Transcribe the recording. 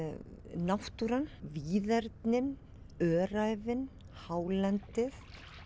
náttúran víðernin öræfin hálendið